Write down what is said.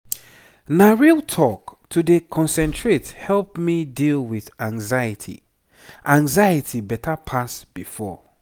na real talk to dey concentrate help me deal with anxiety anxiety better pass before.